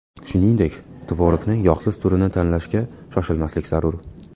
Shuningdek, tvorogni yog‘siz turini tanlashga shoshilmaslik zarur.